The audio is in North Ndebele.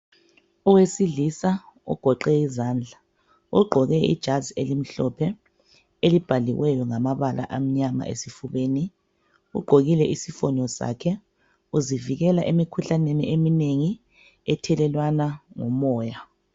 Owesilisa ogoqe izandla, ogqoke ijazi elimhlophe elibhaliweyo ngamabala amnyama esifubeni .Ugqokile isifonyo sakhe uzivikela emikhuhlaneni eminengi ethelelwanwa ngomoya.